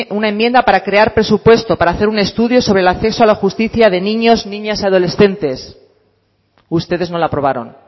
una enmienda para crear presupuesto para hacer un estudio sobre el acceso a la justicia de niños niñas y adolescentes ustedes no la aprobaron